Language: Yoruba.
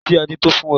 Èṣó tí a ní tó fún wa.